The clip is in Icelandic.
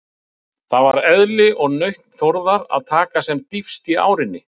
Það var eðli og nautn Þórðar að taka sem dýpst í árinni.